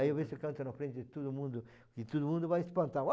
Aí eu vejo se canto na frente de todo mundo, e todo mundo vai espantar.